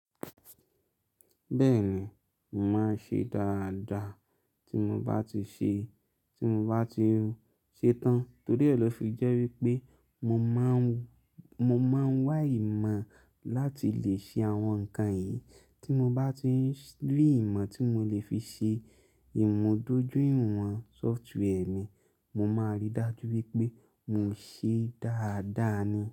Bẹ́ẹ̀ni, mo màá n ṣe dáadáa tí mo bá ti ṣe, tí mo bá ti ṣe tán torí ọ̀ lọ́ fi jẹ́ wípé mo máa ń, mo máa ń wá ìmọ̀ láti lè ṣe àwọn ǹkan yìí tí mo bá ti rí ìmọ̀ tí mo lè fi ṣe ìmọ̀ dojú ìwọ̀n software mí, mo máa rí dájú wípé mo ṣe é dáadáa ni.